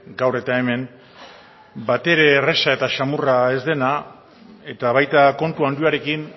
gaur eta hemen batere erraza eta samurra ez dena eta baita kontu handiarekin